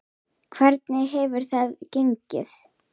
Hvernig hefur þetta gengið?